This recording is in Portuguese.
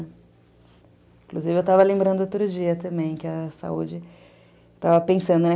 Inclusive, eu estava lembrando outro dia também que a saúde... Estava pensando, né?